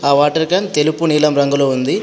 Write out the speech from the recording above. ఆ water can తెలుపు నీలం రంగులో ఉంది.